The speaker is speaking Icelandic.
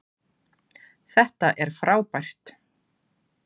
Þetta er frábært!